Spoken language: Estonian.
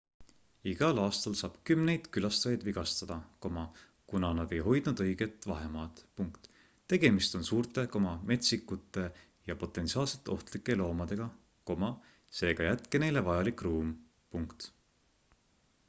igal aastal saab kümneid külastajaid vigastada kuna nad ei hoidnud õiget vahemaad tegemist on suurte metsikuteja potentsiaalselt ohtlike loomadega seega jätke neile vajalik ruum